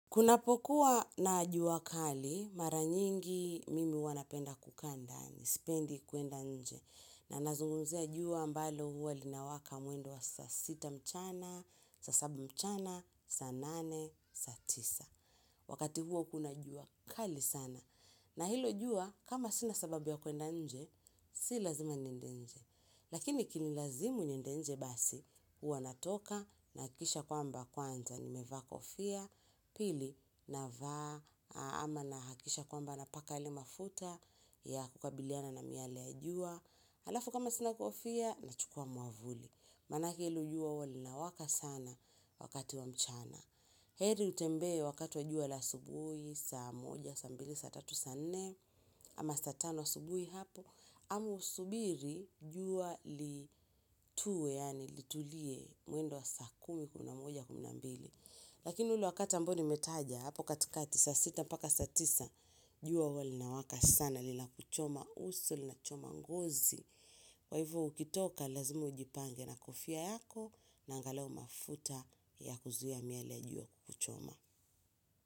Kunapokua na jua kali, mara nyingi mimi huwa napenda kukaa ndani, sipendi kuenda nje. Na nazungumzia jua ambalo huwa linawaka mwendo wa saa sita mchana, saa saba mchana, saa nane, saa tisa. Wakati huwa kuna jua kali sana. Na hilo jua, kama sina sababu ya kuenda nje, si lazima niende nje. Lakini ikinilazimu niende nje basi, huwa natoka nahakikisha kwamba kwanza. Nimevaa kofia, pili navaa ama nahakikisha kwamba napaka yale mafuta ya kukabiliana na miale ya jua, halafu kama sina kofia nachukua mwavuli maanake hilo jua linawaka sana wakati wa mchana heri utembee wakati wa jua la asubuhi saa moja, saa mbili, saa tatu, saa nne ama saa tano asubuhi hapo, ama usubiri jua litue yaani litulie mwendo wa saa kumi kumi na moja kumi na mbili. Lakini ule wakati ambao nimetaja hapo katika saa sita mpaka saa tisa. Jua huwa linawaka sana linakuchoma uso linachoma ngozi. Kwa hivyo ukitoka lazima ujipange na kufia yako na angalau mafuta ya kuzuia miale ya jua kuchoma.